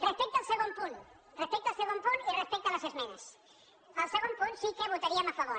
respecte al segon punt respecte al segon punt i res·pecte a les esmenes al segon punt sí que hi votaríem a favor